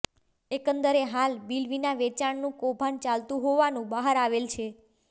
એકંદરે હાલ બિલવિના વેંચાણનું કૌભાંડ ચાલતુ હોવાનું બહાર આવેલ છે